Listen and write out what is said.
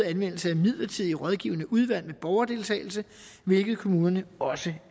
anvendelse af midlertidige rådgivende udvalg med borgerdeltagelse hvilket kommunerne også